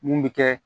Mun bi kɛ